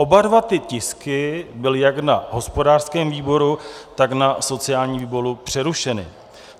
Oba dva ty tisky byly jak na hospodářském výboru, tak na sociálním výboru přerušeny.